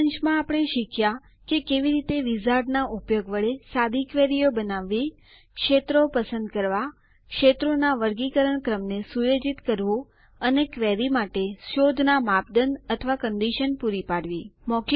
સારાંશમાં આપણે શીખ્યાં કે કેવી રીતે વિઝાર્ડના ઉપયોગ વડે સાદી ક્વેરીઓ બનાવવી ક્ષેત્રો પસંદ કરવાં ક્ષેત્રોના વર્ગીકરણ ક્રમને સુયોજિત કરવું અને ક્વેરી માટે શોધનાં માપદંડ અથવા કન્ડીશન પૂરી પાડવી